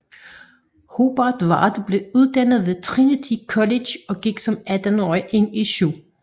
Hobart Ward blev uddannet ved Trinity College og gik som 18 årig ind i 7